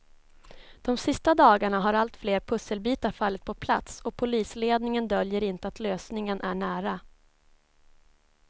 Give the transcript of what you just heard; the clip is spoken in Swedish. De sista dagarna har allt fler pusselbitar fallit på plats och polisledningen döljer inte att lösningen är nära.